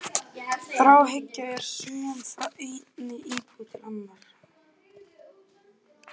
Þráhyggja er söm frá einni íbúð til annarrar.